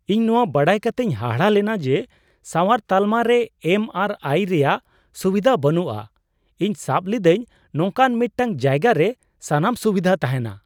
ᱤᱧ ᱱᱚᱶᱟ ᱵᱟᱰᱟᱭ ᱠᱟᱛᱮᱧ ᱦᱟᱦᱟᱲᱟᱜ ᱞᱮᱱᱟ ᱡᱮ, ᱥᱟᱣᱟᱨ ᱛᱟᱞᱢᱟ ᱨᱮ ᱮᱢ ᱟᱨ ᱟᱭ ᱨᱮᱭᱟᱜ ᱥᱩᱵᱤᱫᱷᱟ ᱵᱟᱹᱱᱩᱜᱼᱟ ᱾ ᱤᱧ ᱥᱟᱵ ᱞᱤᱫᱟᱹᱧ ᱱᱚᱝᱠᱟᱱ ᱢᱤᱫᱴᱟᱝ ᱡᱟᱭᱜᱟᱨᱮ ᱥᱟᱱᱟᱢ ᱥᱩᱵᱤᱫᱷᱟ ᱛᱟᱸᱦᱮᱱᱟ ᱾